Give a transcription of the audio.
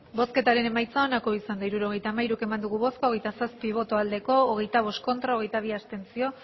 hirurogeita hamairu eman dugu bozka hogeita zazpi bai hogeita bost ez hogeita bi abstentzio